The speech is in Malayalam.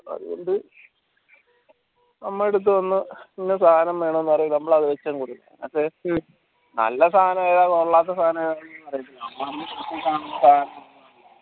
അതോണ്ട് നമ്മളേടത് വന്ന ഇന്ന സാനം വേണം എന്ന് പറയുമ്പോ നമ്മളത് വച്ചങ്ങ് കൊടുക്കും നല്ല സായന ഏതാ കൊള്ളാത്ത സാന ഏതാ